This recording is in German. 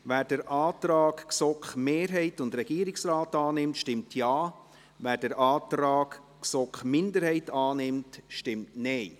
Wer den Antrag GSoK-Mehrheit und Regierungsrat annimmt, stimmt Ja, wer den Antrag GSoK-Minderheit annimmt, stimmt Nein.